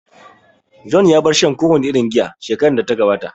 John ya bar shan kowane irin giya shekarar da ta gabata